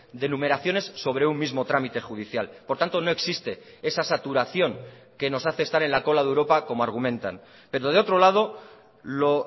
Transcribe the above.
de numeraciones sobre un mismo trámite judicial por tanto no existe esa saturación que nos hace estar en la cola de europa como argumentan pero de otro lado lo